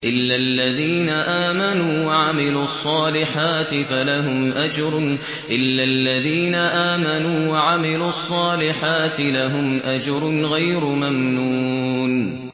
إِلَّا الَّذِينَ آمَنُوا وَعَمِلُوا الصَّالِحَاتِ لَهُمْ أَجْرٌ غَيْرُ مَمْنُونٍ